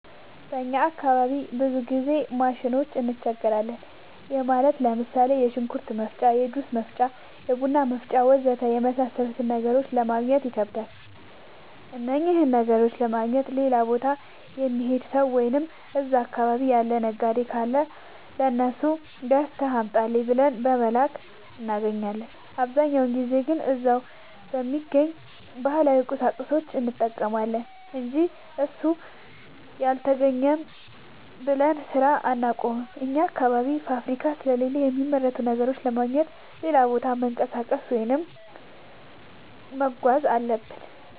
በእኛ አካባቢ ብዙ ጊዜ ማሽኖች እንቸገራለን። ይህም ማለት ለምሳሌ፦ የሽንኩርት መፍጫ፣ የጁስ መፍጫ፣ የቡና መፍጫ.... ወዘተ የመሣሠሉትን ነገሮች ለማገግኘት ይከብዳሉ። እነኝህን ነገሮች ለማግኘት ሌላ ቦታ የሚሄድ ሠው ወይም እዛ አካባቢ ያለ ነጋዴ ካለ ለሱ ገዝተህ አምጣልኝ ብለን በመላክ እናገኛለን። አብዛኛውን ጊዜ ግን እዛው በሚገኝ ባህላዊ ቁሳቁስ እንጠቀማለን አንጂ እሱ አልተገኘም ብለን ስራ አናቆምም። አኛ አካባቢ ፋብሪካ ስለሌለ የሚመረቱ ነገሮችን ለማግኘት ሌላ ቦታ መንቀሳቀስ ወይም መጓዝ አለብን።